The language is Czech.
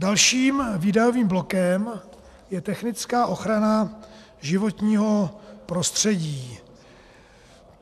Dalším výdajovým blokem je technická ochrana životního prostředí.